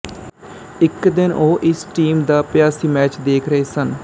ਇੱਕ ਦਿਨ ਉਹ ਇਸ ਟੀਮ ਦਾ ਅਭਿਆਸੀ ਮੈਚ ਦੇਖ ਰਹੇ ਸਨ